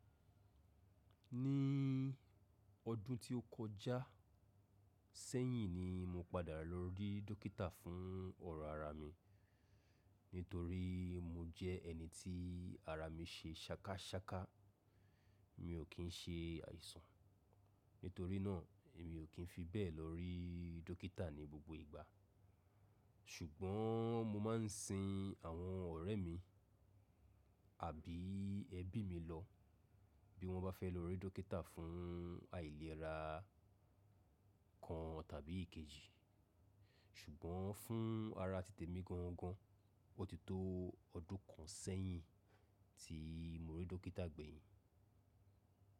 Ní ọdún tí ó kọjá sẹ́yìn ni mo padà lọ rí dókítà fún ọrọ̀ ara mi nítorí mo jẹ ẹni tí ara mi ṣe sákásáká. Mi ò kín ṣe àìsàn, nítorí náà emi ò kín fi bẹ́ẹ̀ lọ rí dókítà ní gbogbo ìgbà. Ṣùgbọ́n mo máa ń sin àwọn ọ̀rẹ́ mi àbí ẹbí mi lọ bí wọ́n bá fẹ́ lọ rí dókítà fún àìlera kan tàbí ikejì. Ṣùgbọ́n fún ara titẹ mi gangan, ó ti tó ọdún kan sẹ́yìn tí mo rí dókítà gbẹ̀yìn.